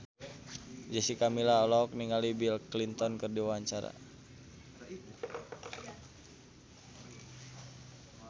Jessica Milla olohok ningali Bill Clinton keur diwawancara